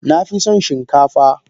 Nafison shin kafa.